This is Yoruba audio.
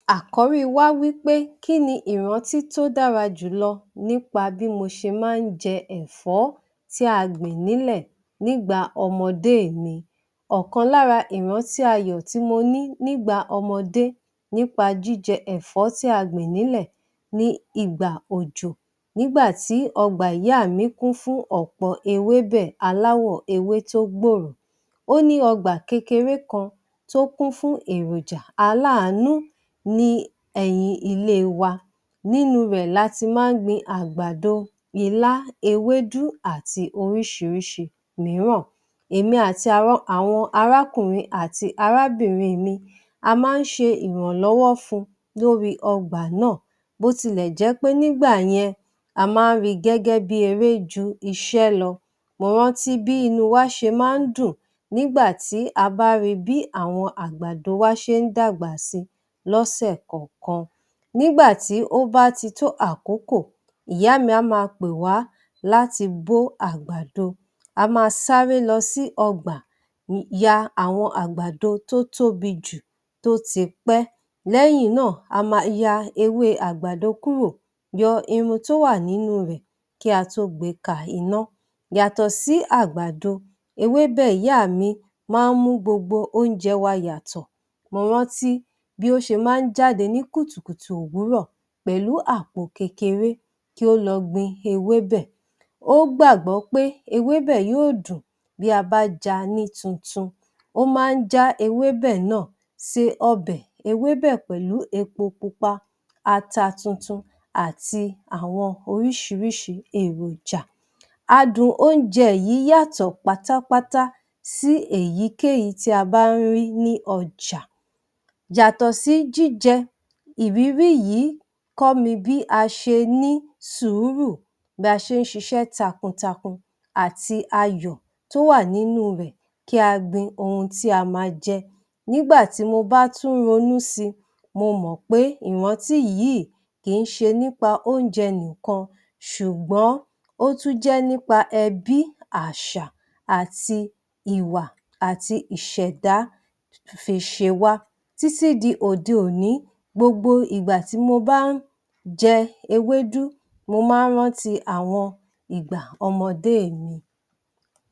Àkọ́rí wá wí pé kí ni ìrántí tó dára jùlọ nípa bí mo ṣe máa ń jẹ ẹ̀fó tí a gbìn nílẹ̀ nígbà ọmọdé mi. Ọ̀kan lára ìrántí ayọ̀ tí mo ní nígbà ọmọdé nípa jíjẹ ẹ̀fọ́ tí a gbìn nílẹ̀ ni ìgbà òjò. Nígbà tí ọgbà ìyá mi kún fún ọ̀pọ̀ ewébẹ̀ aláwọ̀ ewé tó gbòòrò. Ó ní ọgbà kékeré kan tó kún fún èròjà aláàánú ní ẹ̀yìn ilé wa. Nínú rẹ̀ la ti máa ń gbin àgbàdo, ilá, ewédú àti oríṣiríṣi mìíràn. Èmi àti àwọn àwọn arákùnrin àti arábìnrin mi, a máa ń ṣe ìrànlọ́wọ́ fun, lórí ọgbà náà, bó ti lẹ̀ jẹ́ pé nígbà yẹn, a máa ń ri gẹ́gẹ́ bí i eré ju iṣẹ́ lọ. Mo rántí bí inú wa ṣe máa ń dùn nígbà tí a bá ri bí àwọn àgbàdo wa ṣe ń dàgbà si lọ́sẹ̀ kọ̀ọ̀kan. Nígbà tí ó bá ti tó àkókò, ìyá mi a máa pè wá láti bó àgbàdo. A máa sáré lọ sí ọgbà ya àwọn àgbàdo tó tóbi jù, tó ti pẹ́. Lẹ́yìn náà, a máa ya ewé àgbàdo kúrò, yọ irun tó wà nínú rẹ kí a tó gbe ka iná. Yàtọ̀ sí àgbàdo, ewébè ìyá mi máa ń mú gbogbo oúnjẹ wa yàtọ̀. Mo rántí bí ó ṣe máa ń jáde ní kùtùkùtù òwúrọ̀, pẹ̀lú àpò kékeré kí ó lọ gbin ewébẹ̀. Ó gbàgbọ́ pé ewébẹ̀ yí ò dùn bí a bá ja ní tuntun. Ó máa ń já ewébẹ̀ náà se ọbẹ̀ ewébẹ̀ pẹ̀lú epo pupa, ata tuntun àti àwọn oríṣiríṣi èròjà. Adùn oúnjẹ yìí yàtọ̀ pátápátá sí èyíkéyìí tí a bá ń rí ní ọjà. Yàtọ̀ sí jíjẹ, ìrírí yìí kọ́ mi bí a ṣe ní sùúrù, bí a ṣe ń ṣiṣẹ́ takuntakun àti ayọ̀ tó wà nínú rẹ̀ kí a gbin ohun tí a máa jẹ. Nígbà tí mo bá tún ronú si, mo mọ̀ pé ìrántí yìí kì ń ṣe nípa oúnjẹ nìkan, ṣùgbọ́n, ó tún jẹ́ nípa ẹbí, àṣà àti ìwà àti ìṣẹ̀dá fi ṣe wá. Títí di òde-òní, gbogbo ìgbà tí mo bá ń jẹ ewédú, mo máa ń rántí àwọn ìgbà ọmọdé mi.